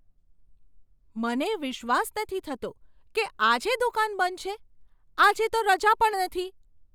મને વિશ્વાસ નથી થતો કે આજે દુકાન બંધ છે! આજે તો રજા પણ નથી.